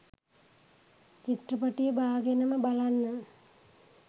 චිත්‍රපටිය බාගෙනම බලන්න.